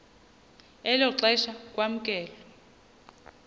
elo xesha kwamkelwe